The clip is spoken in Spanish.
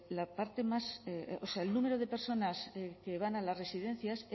el número de personas que van a las residencias